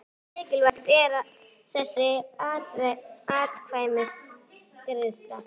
Hversu mikilvæg er þessi atkvæðagreiðsla?